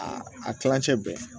A a kilancɛ bɛ